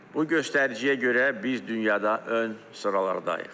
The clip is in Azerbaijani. Bu göstəriciyə görə biz dünyada ön sıralardayıq.